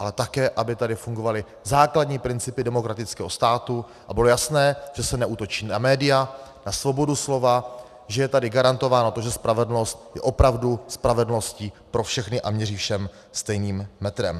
Ale také aby tady fungovaly základní principy demokratického státu a bylo jasné, že se neútočí na média, na svobodu slova, že je tady garantováno to, že spravedlnost je opravdu spravedlností pro všechny a měří všem stejným metrem.